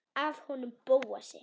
Af honum Bóasi?